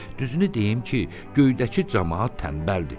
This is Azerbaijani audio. Düzünü deyim ki, göydəki camaat tənbəldir.